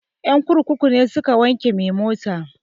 Ƴan kurkuku ne suka wanke mai mota